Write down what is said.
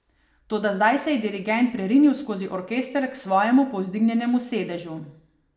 Toda zdaj se je dirigent prerinil skozi orkester k svojemu povzdignjenemu sedežu.